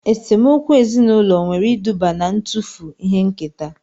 Esemokwu ezinaụlọ nwere iduba na-ntufu ihe nketa